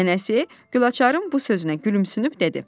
Nənəsi Gülaçarın bu sözünə gülümsünüb dedi: